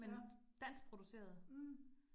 Ja. Mh